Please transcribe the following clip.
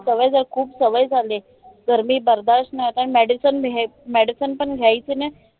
सवय झाली. खूप सवय झालीय. गर्मी बर्दश नाय होत आहे आणि medicine मेहे medicine पण घ्यावी की नाय?